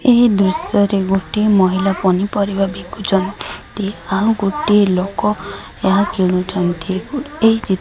ଏହି ଦୃଶ୍ୟ ରେ ଗୋଟିଏ ମହିଲା ପନିପରିବା ବିକୁଚନ୍ତି। ଆଉ ଗୋଟିଏ ଲୋକ ଏହା କିଣୁଚନ୍ତି। ଏହି ଚି --